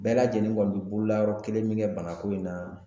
Bɛɛ lajɛlen kɔni bɛ bololayɔrɔ kelen min kɛ banako in na